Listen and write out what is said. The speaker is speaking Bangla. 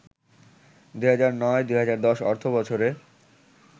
২০০৯-২০১০ অর্থবছরে